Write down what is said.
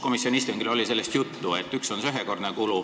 Komisjoni istungil oli juttu, et üks asi on see ühekordne kulu.